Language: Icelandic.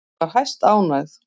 Ég var hæstánægð.